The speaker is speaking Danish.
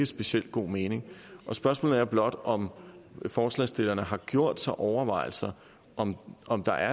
speciel god mening og spørgsmålet er blot om forslagsstillerne har gjort sig overvejelser om om der